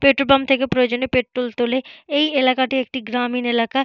Petrol pump থেকে প্রয়োজনীয় petrol তোলে এই এলাকাটি একটি গ্রামীণ এলাকা।